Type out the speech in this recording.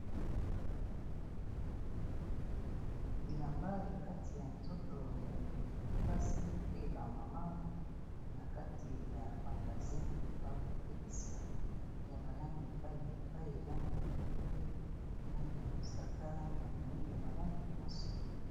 Bilamba ya kati ya nzoto ya bilenge basi pe ba mama, na kati ya magazin. Ba kotekisa ya ba langi epai na epai langi ya pembe, langi ya mosaka, langi ya moyindo, ba langi nyonso.